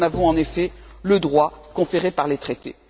Nous en avons en effet le droit, conféré par les Traités.